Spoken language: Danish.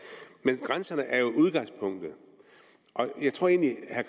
men grænserne er jo udgangspunktet og jeg tror egentlig at